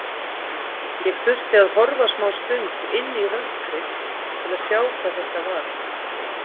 Ég þurfti að horfa smástund inn í rökkrið til að sjá hvað þetta var.